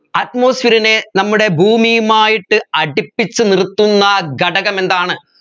atmosphere നെ നമ്മുടെ ഭൂമിയുമായിട്ട് അടുപ്പിച്ച് നിർത്തുന്ന ഘടകമെന്താണ്